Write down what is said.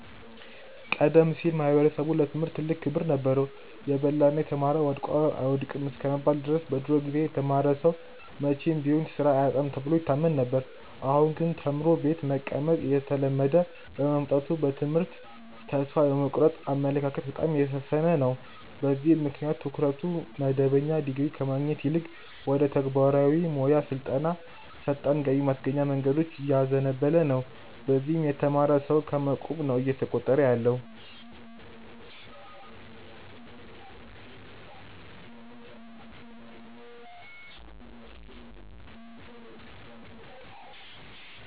ቀደም ሲል ማኅበረሰቡ ለትምህርት ትልቅ ክብር ነበረው። "የበላና የተማረ ወድቆ አይወድቅም" እስከመባል ድረስ በድሮ ጊዜ የተማረ ሰው መቼም ቢሆን ሥራ አያጣም ተብሎ ይታመን ነበር። አሁን ግን ተምሮ ቤት መቀመጥ እየተለመደ በመምጣቱ በትምህርት ተስፋ የመቁረጥ አመለካከት በጣም እየሰፈነ ነው። በዚህም ምክንያት ትኩረቱ መደበኛ ዲግሪ ከማግኘት ይልቅ ወደ ተግባራዊ ሞያ ስልጠናና ፈጣን ገቢ ማስገኛ መንገዶች እያዘነበለ ነው። በዚህም የተማረ ሰው ከመ ቁብ ነው እየተቆጠረ ያለው።